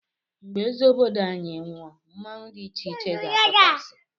Mgbe eze obodo anyị nwụọ mmọnwu dị icheiche ga-apụta si